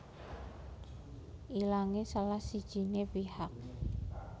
Ilangé salah sijiné pihak